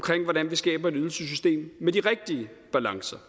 hvordan vi skaber et ydelsessystem med de rigtige balancer